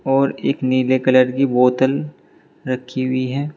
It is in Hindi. और एक नीले कलर की बोतल रखी हुई है।